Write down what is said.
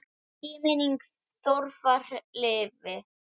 Megi minning Þórðar lifa.